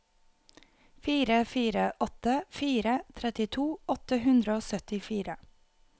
fire fire åtte fire trettito åtte hundre og syttifire